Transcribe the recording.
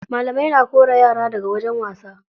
Malamai na kora yara daga wajen wasa.